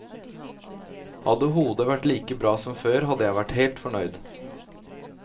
Hadde hodet vært like bra som før, hadde jeg vært helt fornøyd.